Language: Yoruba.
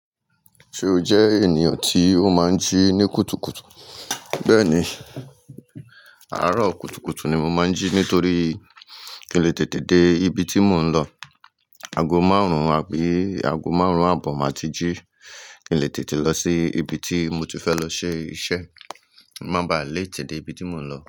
Ṣe o jẹ eniyan ti o maa n ji ni kutukutu? Bẹẹni, aro kutukutu ni mo maa n ji nitori ki n le tete de ibi ti mo n lọ. Ago marun abi ago marun abọ ma ti ji, ki n le tete lọ si ibi ti mo ti fẹ lọ ṣe iṣẹ. Mo ma ba late de ibi ti mo n lọ.